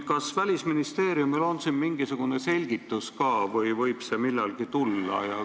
Kas Välisministeeriumil on siin mingisugune selgitus ka või võib see millalgi tulla?